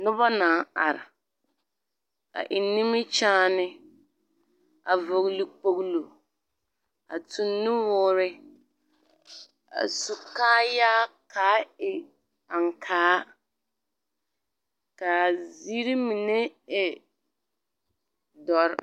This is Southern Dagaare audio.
Noba naŋ are, a eŋ nimikyaane. A vɔgle kpoglo, a toŋ nuwoore, a su kaayaa kaa e aŋkaa. Kaa ziiri mine e dɔr.